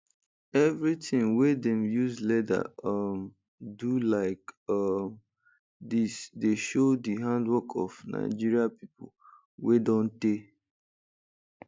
every ting wey dem use leather um do like um dis dey show di handiwork of nigeria people wey don tey